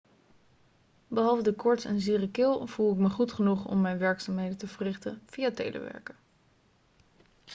behalve de koorts en zere keel voel ik me goed genoeg om mijn werkzaamheden te verrichten via telewerken